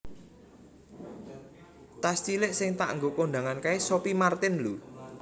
Tas cilik sing tak nggo kondangan kae Sophie Martin lho